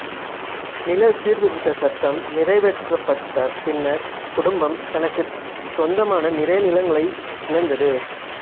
நில சீர்திருத்தச் சட்டம் நிறைவேற்றப்பட்ட பின்னர் குடும்பம் தனக்கு சொந்தமான நிறைய நிலங்களை இழந்தது